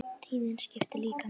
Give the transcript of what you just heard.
Tíðnin skiptir líka máli.